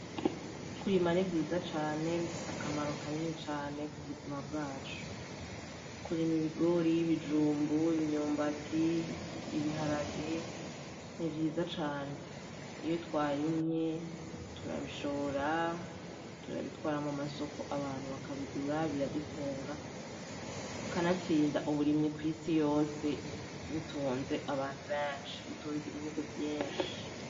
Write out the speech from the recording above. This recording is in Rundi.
Kurima ni vyiza cane bifise akamaro kanini cane ku buzima bwacu kurima ibigori, ibijumbu, imyumbati, ibiharage ni vyiza cane iyo twarimye turabishora turabitwara mu masoko abantu bakabigura biradutunga kanatsinda uburimyi kw'isi yose butunze abantu benshi butunze ibihugu vyinshi.